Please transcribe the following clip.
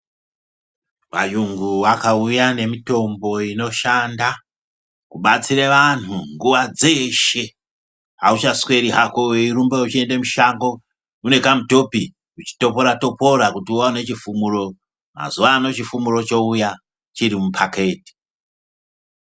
Vayungu vakauya nemitombo inoshanda kubatsira vanhu nguwa dzeshe, auchasweri hako wechirumba weyiyenda mushango unekamutopi uchitopora topora kuti uwane chifumuro, mazuwa ano chifumuro chouya chirimupakiti.